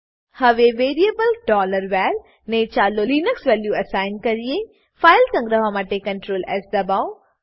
હવે variable var ને ચાલો લિનક્સ વેલ્યુ એસાઈન કરીએ ફાઈલ સંગ્રહવા માટે Ctrl એસ દબાવો